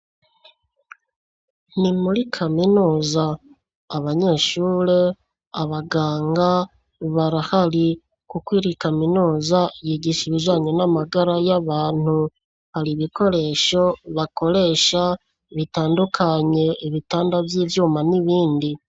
Ni muri Kaminuza. Abanyeshure, abaganga barahari kuko iyi kaminuza yigisha ibijanye n'amagara y'abantu. Hari ibikoresho bakoresha bitandukanye ibitanda vy'ivyuma, n'ibindi.